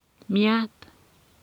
miat.